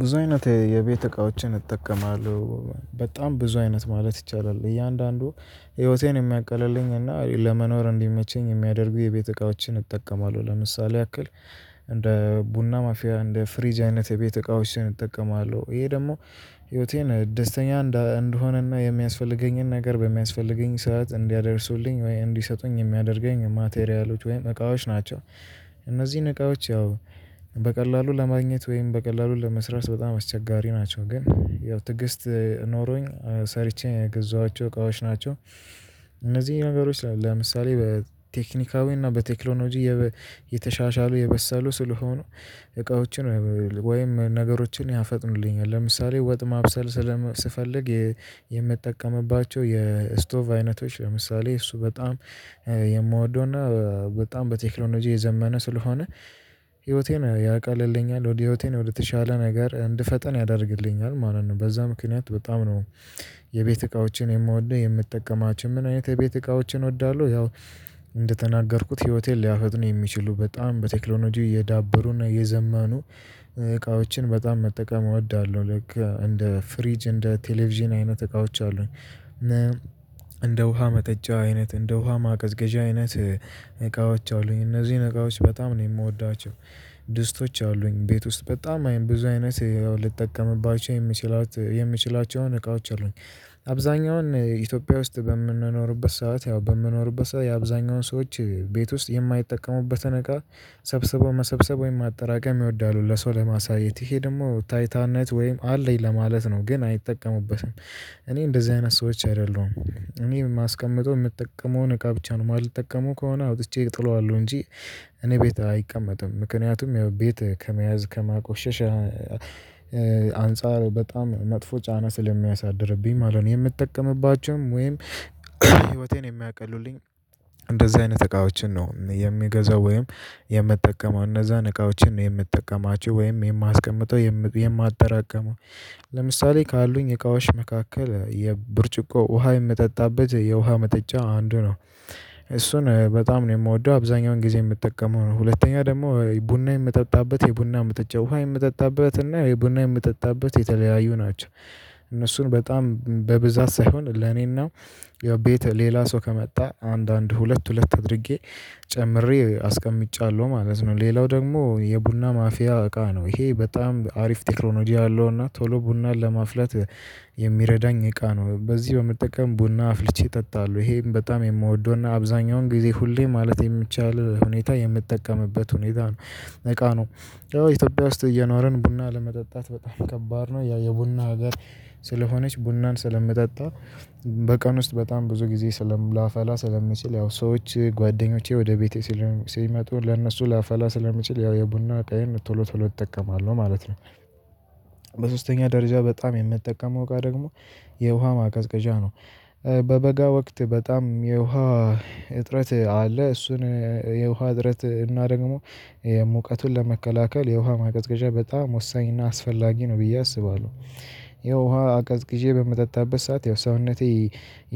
ብዙ አይነት የቤት እቃዎችን እጠቀማለሁ በጣም ብዙ አይነት ማለት ይቻላል። እያንዳንዱ ህይወቴን የሚያቀለልኝ እና ለመኖር እንዲመቸኝ የሚያደርጉ የቤት እቃዎችን እጠቀማለሁ፣ ለምሳሌ ያክል እንደ ቡና ማፊያ፣ እንደ ፍሪጅ፣ አይነት የቤት እቃዎች እጠቀማለው ይሄ ደግሞ ህይወቴን ደስተኛ እንድሆነና የሚያስፈልገኝን ነገር በሚያስፈልገኝ ሰዓት እንዲያደርሱልኝ ወይ እንዲሰጡኝ የሚያደርገኝ ማቴሪያሎች ወይም እቃዎች ናቸው። እነዚህን እቃዎች ያው በቀላሉ ለማግኘት ወይም በቀላሉ ለመስራት በጣም አስቸጋሪ ናቸው ግን ያው ትግስት ኖሮኝ ሰርቼ የገዛኋቸው እቃዎች ናቸው። እነዚህ ነገሮች ለምሳሌ በቴክኒካዊ እና በቴክኖሎጂ የተሻሻሉ የበሳሉ ስለሆኑ እቃዎችን ወይም ነገሮችን ያፈጥኑልኛል፣ ለምሳሌ ወጥ ማብሰል ስፈልግ የምትጠቀምባቸው የስቶቭ አይነቶች ለምሳሌ እሱ በጣም የምወደውና በጣም በቴክኖሎጂ የዘመነ ስለሆነ ህይወቴን ያቀልልኛል ወደ ህይወቴ ነው የተሻለ ነገር እንድፈጠን ያደርግልኛል ማለት ነው፣ በዛ ምክንያት በጣም ነው የቤት እቃዎችን የምወደው የምትጠቀማቸው። ምን አይነት የቤት እቃዎችን እወዳለሁ ያው እንደተናገርኩት ህይወቴን ሊያፈጥኑ የሚችሉ በጣም በቴክኖሎጂ እየዳበሩና እየዘመኑ እቃዎችን በጣም መጠቀም እወዳለሁ። ልክ እንደ ፍሪጅ እንደ ቴሌቪዥን አይነት እቃዎች አሉኝ። እንደ ውሃ መጠጫ አይነት፣ እንደ ውሃ ማቀዝቀዣ አይነት፣ እቃዎች አሉኝ እነዚህን እቃዎች በጣም ነው የምወዳቸው ድስቶች አሉኝ ቤት ውስጥ በጣም አይነት ብዙ አይነት ልጠቀምባቸው የምችላቸውን እቃዎች አሉኝ። አብዛኛውን ኢትዮጵያ ውስጥ በምንኖርበት ሰዓት ያው በምንኖርበት ሰዓት የአብዛኛውን ሰዎች ቤት ውስጥ የማይጠቀሙበትን እቃ ሰብስበው መሰብሰብ ወይም ማጠራቀም ይወዳሉ ለሰው ለማሳየት ይሄ ደግሞ ታይታነት ወይም አለኝ ለማለት ነው ግን አይጠቀሙበትም። እኔ እንደዚህ አይነት ሰዎች አይደለሁም፣ እኔ የማስቀምጠው የምጠቀመውን እቃ ብቻ ነው የማልጠቀመው ከሆነ አውጥቼ እጥለዋለሁ እንጂ እኔ ቤት አይቀመጥም ምክንያቱም ያው ቤት ከመያዝ ከማቆሸሸ አንፃር በጣም ነጥፎ ጫና ስለሚያሳድርብኝ ማለት ነው። የምጠቀምባቸውን ወይም ህይወቴን የሚያቀሉልኝን እንደዚህ አይነት እቃዎችን ነው የሚገዛው ወይም የምትጠቀመው እነዛን እቃዎችን ነው የምትጠቀማቸው ወይም የማስቀምጠው፣ የማትጠራቅመው። ለምሳሌ ካሉኝ እቃዎች መካከል የ ብርጭቆ ውሃ የምጠጣበት የውሃ መጠጫ አንዱ ነው፣ እሱን በጣም ነው የምወደው አብዛኛውን ጊዜ የምጠቀመው ነው። ሁለተኛ ደግሞ ቡና የምጠጣበት የቡና መጠጫ፣ ውሃ የምጠጣበት እና ቡና የምጠጣበት የተለያዩ ናቸው እነሱን በጣም በብዛት ሳይሆን ለኔና ያው ቤት ሌላ ሰው ከመጣ አንድ አንድ ሁለት ሁለት አድርጌ ጨምሬ አስቀምጫለሁ ማለት ነው። ሌላው ደግሞ የቡና ማፍያ እቃ ነው ይሄ በጣም አሪፍ ቴክሮሎጂ አለው እና ቶሎ ቡናን ለማፍለት የሚረዳኝ እቃ ነው በዚህ በመጠቀም ቡና አፍልቼ እጠጣለሁ ይሄም በጣም የምወደውና አብዛኛውን ጊዜ ሁሌ ማለት በሚቻል ሁኔታ የምትጠቀምበት ሁኔታ ነው እቃ ነው። ያው ኢትዮጵያ ውስጥ እየኖርን ቡና ለመጠጣት በጣም ከባድ ነው ያው የቡና ሀገር ስለሆነች ቡናን ስለምጠጣ በቀን ውስጥ በጣም ብዙ ጊዜ ስለም ላፈላ ስለምችል ያው ሰዎች ጓደኞቼ ወደ ቤቴ ሲል ሲመጡ ለእነሱ ላፈላ ስለምችል ያው የቡና እቃየን ቶሎ ቶሎ እጠቀማለሁ ማለት ነው። በሶስተኛ ደረጃ በጣም የምትጠቀመው እቃ ደግሞ የውሃ ማቀዝቀዣ ነው። በበጋ ወቅት በጣም የውሃ እጥረት አለ እሱን የውሃ እጥረት እና ደግሞ የ ሙቀቱን ለመከላከል የውሃ ማቀዝቀዣ በጣም ወሳኝ እና አስፈላጊ ነው ብዬ አስባለሁ። ያው ውሃ አቀዝቅዤ በምጠጣበት ሰዓት ያው ሰውነቴ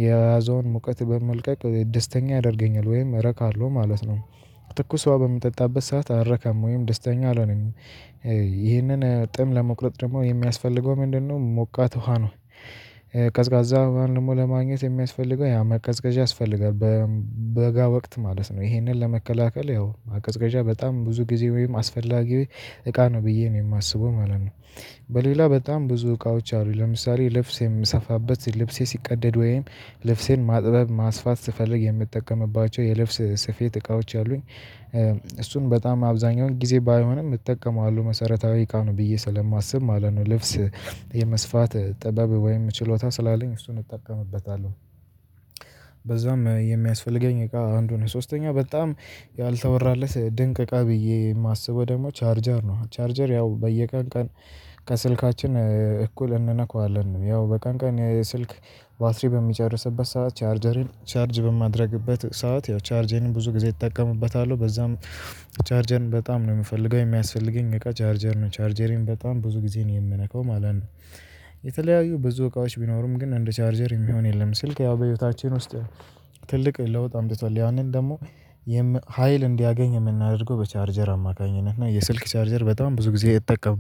የያዘውን ሙቀት በመልቀቅ ደስተኛ ያደርገኛል ወይም እረካለሁ ማለት ነው። ትኩስ ዉሃ በምጠጣበት ሰዓት አረካም ወይም ደስተኛ አልሆነም፤ ይህንን ጥም ለመቁረጥ ደግሞ የሚያስፈልገው ምንድነው ሞቃት ውሃ ነው። ቀዝቃዛ ዉሃን ደግሞ ለማግኘት የሚያስፈልገው ያ ማቀዝቀዣ ያስፈልጋል። በጋ ወቅት ማለት ነው ይሄንን ለመከላከል ያው ማቀዝቃዣ በጣም ብዙ ጊዜ ወይም አስፈላጊ እቃ ነው ብዬ ነው የማስበው ማለት ነው። በሌላ በጣም ብዙ እቃዎች አሉኝ ለምሳሌ ልብስ የምሰፋበት ልብሴ ሲቀደድ ወይም ልብሴን ማጥበብ፣ ማስፋት ስፈልግ የምትጠቀምባቸው የልብስ ስፌት እቃዎች አሉኝ እሱን በጣም አብዛኛውን ጊዜ ባይሆንም እጠቀማለሁ መሰረታዊ እቃ ነው ብዬ ስለማስብ ማለት ነው። ልብስ የመስፋት ጥበብ ወይም ችሎታ ስላለኝ እሱን እጠቀምበታለሁ። በዛም የሚያስፈልገኝ እቃ አንዱ ነው። ሶስተኛው በጣም ያልተወራለት ድንቅ እቃ ብዬ የማስበው ደግሞ ቻርጀር ነው። ቻርጀር ያው በየቀን ቀን ከስልካችን እኩል እንነካዋለን ያው በቀን ቀን የስልክ ባትሪ በሚጨርስበት ሰዓት ቻርጀሬን ቻርጅ በማደርግበት ሰዓት ያው ቻርጀሬን ብዙ ጊዜ ይጠቀምበታል በዛም ቻርጀር በጣም ነው የምፈልገው የሚያስፈልገኝ እቃ ቻርጀር ነው። ቻርጀሬን በጣም ብዙ ጊዜ ነው የምነካው ማለት ነው። የተለያዩ ብዙ እቃዎች ቢኖሩም ግን እንደ ቻርጀር የሚሆን የለም። ስልክ ያው በህይወታችን ውስጥ ትልቅ ለውጥ አምጥቷል ያንን ደግሞ ሀይል እንዲያገኝ የምናደርገው በቻርጀር አማካኝነት እና የስልክ ቻርጀር በጣም ብዙ ጊዜ እጠቀማለሁ።